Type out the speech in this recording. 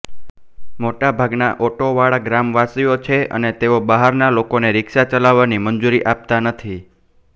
મોટા ભાગના ઓટો વાળા ગ્રામવાસીઓ છે અને તેઓ બહારના લોકોને રિક્ષા ચલાવવાની મંજુરી આપતા નથી